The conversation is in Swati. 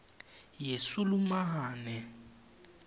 yesulumane